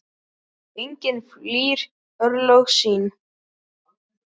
Enginn flýr örlög sín.